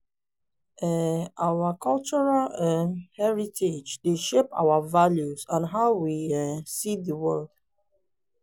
um our cultural um heritage dey shape our values and how we um see di world.